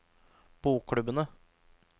bokklubbene